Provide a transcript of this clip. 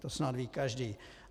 To snad ví každý.